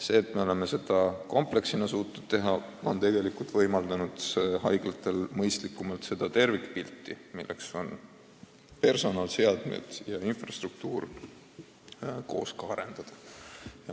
Me oleme suutnud seda kompleksina teha ja see on võimaldanud haiglatel mõistlikumalt kogu tervikut, mille moodustavad personal, seadmed ja infrastruktuur, koos arendada.